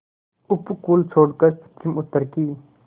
उपकूल छोड़कर पश्चिमउत्तर की